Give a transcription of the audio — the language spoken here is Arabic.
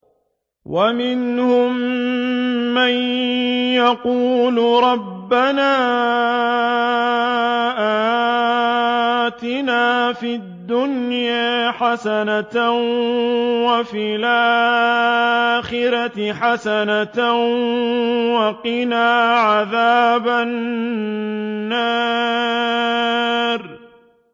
وَمِنْهُم مَّن يَقُولُ رَبَّنَا آتِنَا فِي الدُّنْيَا حَسَنَةً وَفِي الْآخِرَةِ حَسَنَةً وَقِنَا عَذَابَ النَّارِ